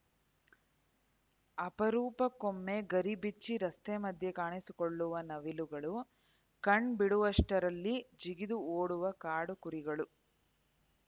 ಅಪರೂಪಕ್ಕೊಮ್ಮೆ ಗರಿ ಬಿಚ್ಚಿ ರಸ್ತೆ ಮಧ್ಯ ಕಾಣಿಸಿಕೊಳ್ಳುವ ನವಿಲುಗಳು ಕಣ್‌ ಬಿಡುವಷ್ಟರಲ್ಲಿ ಜಿಗಿದು ಓಡುವ ಕಾಡು ಕುರಿಗಳು